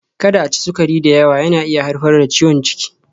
Kada a ci sukari da yawa, yana iya haifar da ciwon ciki.